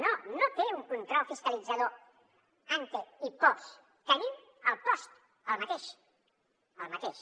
no no té un control fiscalitzador antenim el post el mateix el mateix